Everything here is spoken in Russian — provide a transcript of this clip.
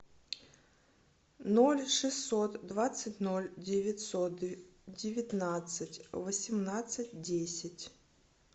ноль шестьсот двадцать ноль девятьсот девятнадцать восемнадцать десять